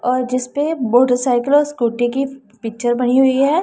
और जिसपे मोटरसाइकल और स्कूटी की पिक्चर बनी हुई है।